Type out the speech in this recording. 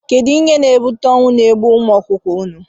Kedụ ihe na- ebute ọnwụ na ebe ụmụ ọkụkọ nọ?